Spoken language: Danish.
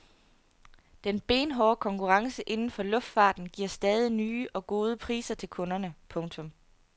Den benhårde konkurrence inden for luftfarten giver stadig nye og gode priser til kunderne. punktum